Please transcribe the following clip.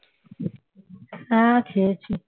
হ্যাঁ খেয়েছি